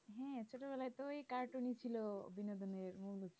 ছোটবেলাতে ওই cartoon ছিল